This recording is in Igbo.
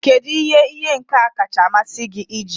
Kedu ihe ihe nka kacha amasị gị iji?